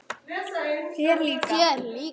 Þér líka?